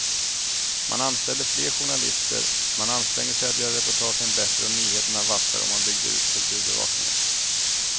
Man anställde fler journalister, man ansträngde sig att göra reportagen bättre och nyheterna vassare och man byggde ut kulturbevakningen.